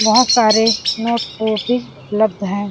बहोत सारे नोट उपलब्ध है |.